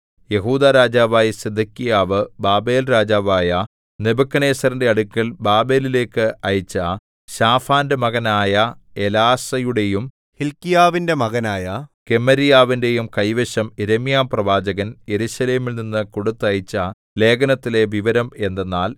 യെഹൂദാ രാജാവായ സിദെക്കീയാവ് ബാബേൽരാജാവായ നെബൂഖദ്നേസരിന്റെ അടുക്കൽ ബാബേലിലേക്ക് അയച്ച ശാഫാന്റെ മകനായ എലാസയുടെയും ഹില്ക്കീയാവിന്റെ മകനായ ഗെമര്യാവിന്റെയും കൈവശം യിരെമ്യാപ്രവാചകൻ യെരൂശലേമിൽനിന്ന് കൊടുത്തയച്ച ലേഖനത്തിലെ വിവരം എന്തെന്നാൽ